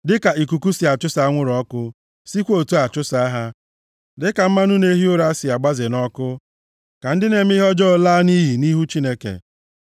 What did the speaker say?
Dịka ikuku si achụsa anwụrụ ọkụ, + 68:2 \+xt Hos 13:3\+xt* sikwa otu a chụsaa ha. Dịka mmanụ na-ehi ụra si agbaze nʼọkụ, ka ndị na-eme ihe ọjọọ laa nʼiyi nʼihu Chineke.